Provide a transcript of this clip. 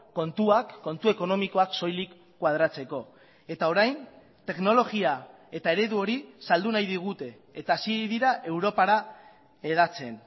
kontuak kontu ekonomikoak soilik koadratzeko eta orain teknologia eta eredu hori saldu nahi digute eta hasi dira europara hedatzen